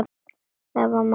Það var mamma hennar.